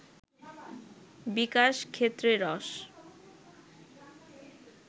বিকাশ ক্ষেত্রেরস